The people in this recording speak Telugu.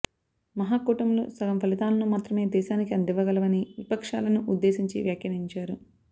మహాకూటములు సగం ఫలితాలను మాత్రమే దేశానికి అందివ్వగలవని విపక్షాలను ఉద్దేశించి వ్యాఖ్యానించారు